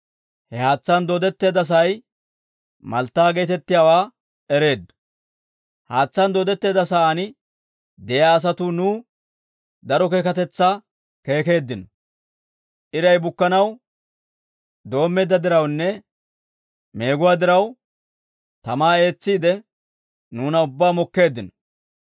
Haatsaan dooddetteedda sa'aan de'iyaa asatuu nuw daro keekatetsaa keekeeddino; iray bukkanaw doommeedda dirawunne meeguwaa diraw, tamaa eetsiide, nuuna ubbaa mokkeeddino.